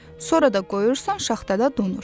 Sonra da qoyursan şaxtada donur.